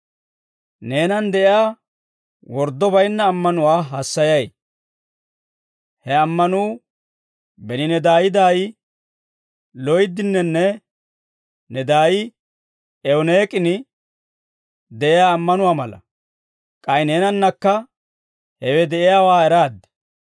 Neenan de'iyaa worddo baynna ammanuwaa hassayay. He ammanuu beni ne daay daay Loydininne ne daay Ewuniik'in de'iyaa ammanuwaa mala; k'ay neenankka hewe de'iyaawaa eraad.